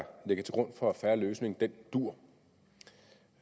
fair løsning